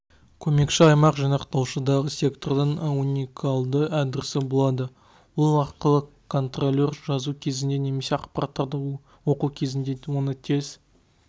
көмекші аймақ жинақтаушыдағы сектордың уникалды адресі болады ол арқылы контролер жазу кезінде немесе ақпараттарды оқу кезінде оны тез